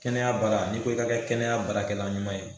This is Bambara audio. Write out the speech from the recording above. Kɛnɛya baara n'i ko i ka kɛ kɛnɛyabaarakɛla ɲuman ye